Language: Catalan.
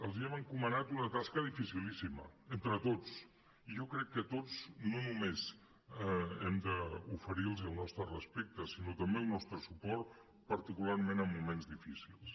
els hem encomanat una tasca dificilíssima entre tots i jo crec que tots no només hem d’oferir los el nostre respecte sinó també el nostre suport particularment en moments difícils